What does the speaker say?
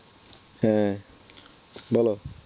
হ্যাঁ বল